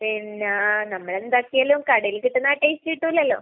പിന്നെ നമ്മൾ എന്താക്കിയാലും കടയിൽ കിട്ടുന്ന ആ ടേസ്റ്റ് കിട്ടൂലാലോ.